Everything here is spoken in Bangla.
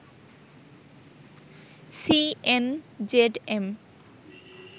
সিএনজেডএম